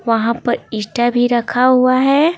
वहाँ पर इस्टा भी रखा हुआ है।